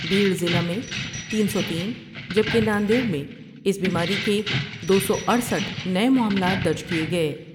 بیڑ ضلع میں تین سو تین جبکہ ناندیڑ میں اس بیماری کے دو سو اٹھسٹھ نئے معاملات درج کئے گئے